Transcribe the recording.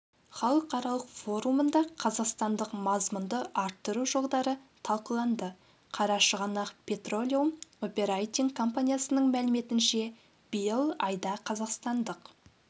халықаралық форумында қазақстандық мазмұнды арттыру жолдары талқыланды қарашығанақ петролеум оперейтинг компаниясының мәліметінше биыл айда қазақстандық